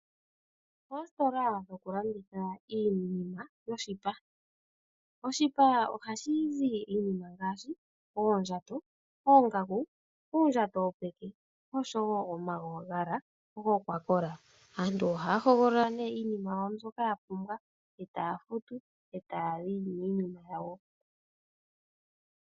Oositola dhokulanditha iinima yoshipa. Oshipa ohashi zi iinima ngaashi; oondjato, oongaku, uundjato wopeke, osho wo omagala gokwakola. Aantu ohaya hogolola nee iinima yawo mbyoka ya pumbwa, e taya futu, e taya yi niinima yawo.